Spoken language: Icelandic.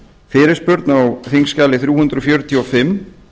fyrirspurn á þingskjali þrjú hundruð fjörutíu og fimm